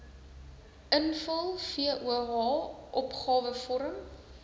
invul voh opgawevorm